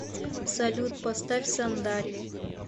салют поставь сандали